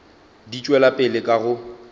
di tšwela pele ka go